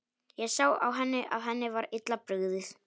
Ég sá á henni að henni var illa brugðið.